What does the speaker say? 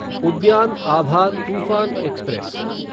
उद्यान अभा तूफ़ान एक्सप्रेस